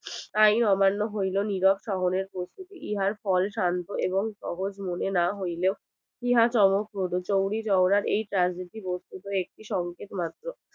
তাই অমান্য হইলো নিরব শহরের প্রস্তুতি। ইহার ফল শান্ত এবং অবুঝ মনে না হইলেও ইহা চমকপ্রদ। চৌড়ি চৌরার এই কাজ গুলি বুজতে হবে একটি সংকেত মাত্র